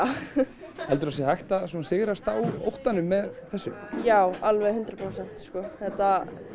heldurðu að það sé hægt að sigrast á óttanum með þessu já alveg hundrað prósent þetta